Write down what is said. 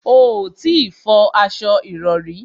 O ò tí ì fọ aṣo ìrọrí